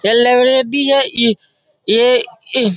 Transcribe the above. शायद लाइब्रेरी है इ ये इ --